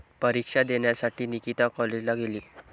परीक्षा देण्यासाठी निकिता कॉलेजला गेली